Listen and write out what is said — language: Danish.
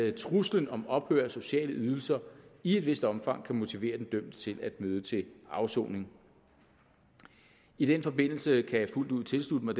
at truslen om ophør af sociale ydelser i et vist omfang kan motivere den dømte til at møde til afsoning i den forbindelse kan jeg fuldt ud tilslutte mig